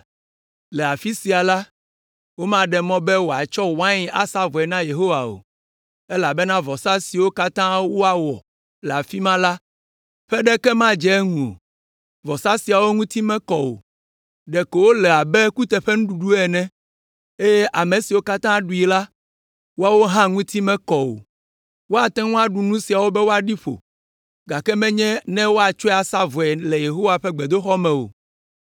Le afi sia la, womaɖe mɔ be miatsɔ wain asa vɔe na Yehowa o, elabena vɔsa siwo katã woawɔ le afi ma la ƒe ɖeke madze eŋu o; vɔsa siawo ŋuti mekɔ o, ɖeko wole abe kuteƒenuɖuɖu ene, eye ame siwo katã ɖui la, woawo hã ŋuti mekɔ o. Woate ŋu aɖu nu siawo be woaɖi ƒo, gake menye be woatsɔe asa vɔe le Yehowa ƒe gbedoxɔ me o.